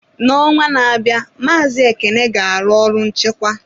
N'ọnwa na-abịa, Maazi Ekene ga-arụ ọrụ nchịkwa.